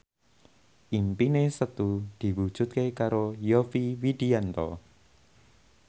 impine Setu diwujudke karo Yovie Widianto